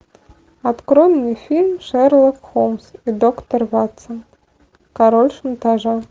открой мне фильм шерлок холмс и доктор ватсон король шантажа